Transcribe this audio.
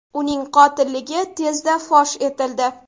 Uning qotilligi tezda fosh etildi.